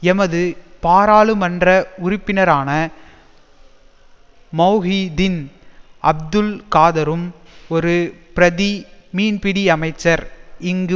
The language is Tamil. எமது பாராளுமன்ற உறுப்பினரான மொஹிதீன் அப்துல் காதரும் ஒரு பிரதி மீன்பிடியமைச்சர் இங்கு